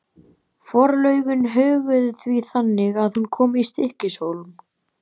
Forlögin höguðu því þannig að hún kom í Stykkishólm.